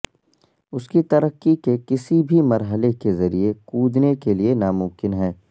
اس کی ترقی کے کسی بھی مرحلے کے ذریعے کودنے کے لئے ناممکن ہے